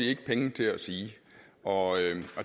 ikke penge til at sige og